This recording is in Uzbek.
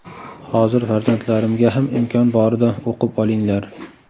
Hozir farzandlarimga ham imkon borida o‘qib olinglar.